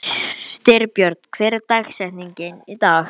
Styrbjörn, hver er dagsetningin í dag?